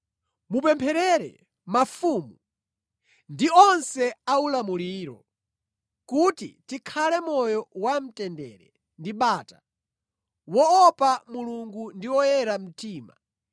Mupempherere mafumu ndi onse aulamuliro, kuti tikhale moyo wamtendere ndi bata, woopa Mulungu ndi oyera mtima.